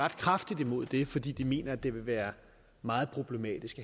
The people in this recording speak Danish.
kraftigt imod det fordi de mener det vil være meget problematisk